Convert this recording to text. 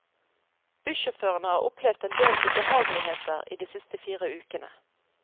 Bussjåførene har opplevd en del ubehageligheter i de siste fire ukene.